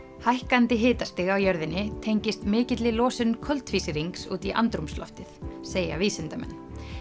hækkandi hitastig á jörðinni tengist mikilli losun koltvísýrings út í andrúmsloftið segja vísindamenn